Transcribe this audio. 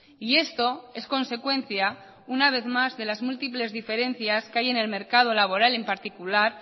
y esto es consecuencia una vez más de las múltiples diferencias que hay en el mercado laboral en particular